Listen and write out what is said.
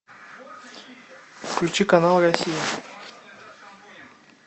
включи канал россия